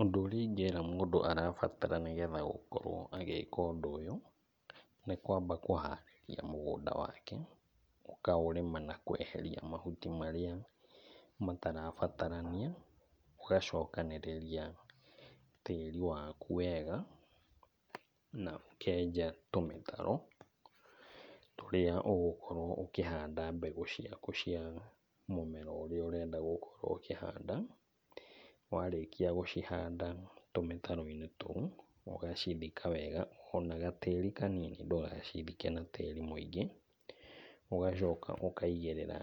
Ũndũ ũrĩa ingĩra mũndũ arabatara nĩgetha gũkorwo agĩka ũndũ ũyũ, nĩ kwamba kũharĩria mũgũnda wake. Ũkaũrĩma na kweheria mahuti marĩa matarabatarania. Ũgacokanĩrĩria tĩri waku wega, na ũkenja tũmĩtaro tũrĩa ũgũkorwo ũkĩhanda mbegũ ciaku cia mũmera ũrĩa ũrenda gũkorwo ũkĩhanda. Warĩkia gũcihanda tũmĩtaro-inĩ tũu, ũgacithika wega o na gatĩri kanini ndũgacithike na tĩri mũingĩ. Ũgacoka ũkaigĩrĩra